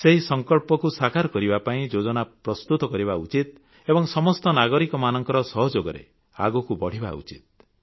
ସେହି ସଂକଳ୍ପକୁ ସାକାର କରିବା ପାଇଁ ଯୋଜନା ପ୍ରସ୍ତୁତ କରିବା ଉଚିତ ଏବଂ ସମସ୍ତ ନାଗରିକମାନଙ୍କ ସହଯୋଗରେ ଆଗକୁ ବଢ଼ିବା ଉଚିତ